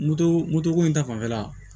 Moto moto ko in ta fanfɛla